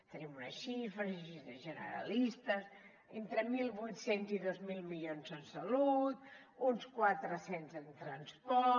tenim unes xifres generalistes entre mil vuit cents i dos mil milions en salut uns quatre cents en transport